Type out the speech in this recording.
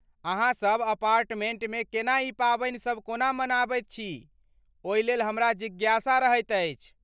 अहाँसभ अपार्टमेंटमे केना ई पावनि सभ कोना मनबैत छी ओहि लेल हमरा जिज्ञासा रहैत अछि।